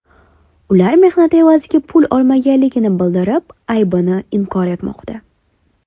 Ular mehnati evaziga pul olmaganligini bildirib, aybini inkor etmoqda.